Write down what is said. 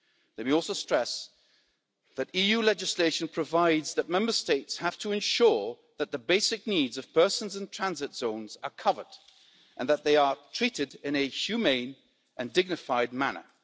Let me also stress that EU legislation provides that Member States have to ensure that the basic needs of persons in transit zones are covered and that they are treated in a humane and dignified manner.